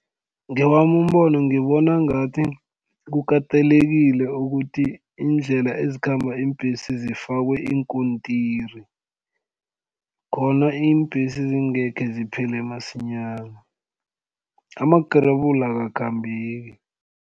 Ngewami umbono ngibona ngathi kukatelekile ukuthi iindlela ezikhamba iimbhesi zifakwe iinkontiri khona iimbhesi zingekhe ziphele masinyana amagrebula akakhambeki.